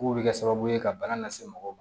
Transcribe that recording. K'u bɛ kɛ sababu ye ka bana lase mɔgɔw ma